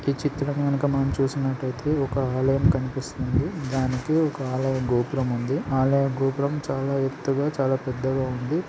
ఈ చిత్రం గనక మనం చూసి నట్టయితే ఒక ఆలయం కనిపిస్తుంది. దానికి ఒక ఆలయం గోపురం ఉంది. ఆలయ గోపురం చాలా ఎత్తుగా చాలా పెద్దగా ఉంది